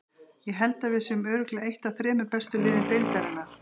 Ég held að við séum með örugglega eitt af þremur bestu liðum deildarinnar.